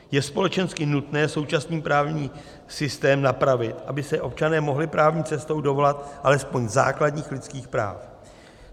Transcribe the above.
Je společensky nutné současný právní systém napravit, aby se občané mohli právní cestou dovolat alespoň základních lidských práv.